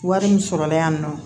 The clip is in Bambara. Wari min sɔrɔla yan nɔ